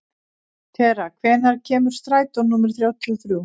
Tera, hvenær kemur strætó númer þrjátíu og þrjú?